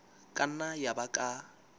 ka nna ya ba ka